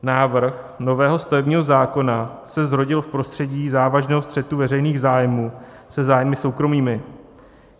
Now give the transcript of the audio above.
Návrh nového stavebního zákona se zrodil v prostředí závažného střetu veřejných zájmů se zájmy soukromými.